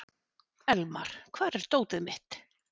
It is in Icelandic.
Elmar, hvar er dótið mitt?